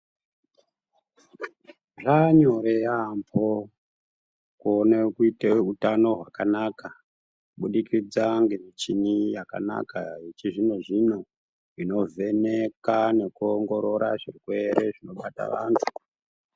Zvaanyore yaambo kuone kuite utano hwakanaka kubudikidza ngemichini yakanaka yechizvino-zvino, inovheneka nekuongorora zvirwere zvinobata vantu.